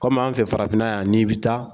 Kɔmi an fɛ farafinna yan n'i bɛ taa